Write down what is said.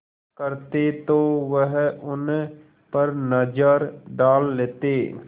करते तो वह उन पर नज़र डाल लेते